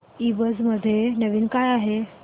ईबझ मध्ये नवीन काय आहे